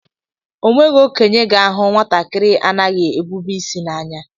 O nweghị okenye ga-ahu nwatakịrị anaghị ebube isi n'anya.